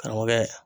Karamɔgɔkɛ